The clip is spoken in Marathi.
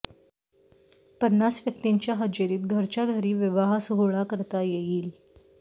पन्नास व्यक्तींच्या हजेरीत घरच्या घरी विवाह सोहळा करता येईल